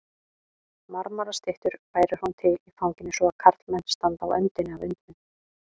Marmarastyttur færir hún til í fanginu svo að karlmenn standa á öndinni af undrun.